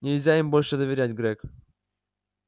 нельзя им больше доверять грег